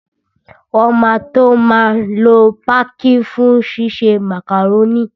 Wọn máa tó máa lo pákí fún ṣíṣe màkàrónì